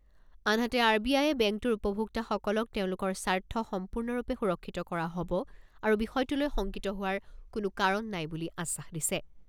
আনহাতে R B আয়ে বেংকটোৰ উপভোক্তাসকলক তেওঁলোকৰ স্বাৰ্থ সম্পূৰ্ণৰূপে সুৰক্ষিত কৰা হ'ব আৰু বিষয়টোলৈ শংকিত হোৱাৰ কোনো কাৰণ নাই বুলি আশ্বাস দিছে।